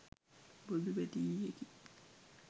බොදු බැති ගීතයකි